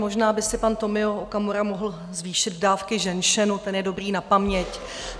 Možná by si pan Tomio Okamura mohl zvýšit dávky ženšenu, ten je dobrý na paměť.